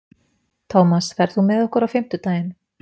Tómas, ferð þú með okkur á fimmtudaginn?